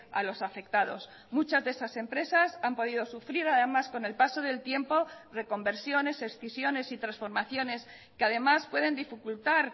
a los afectados muchas de esas empresas han podido sufrir además con el paso del tiempo reconversiones escisiones y transformaciones que además pueden dificultar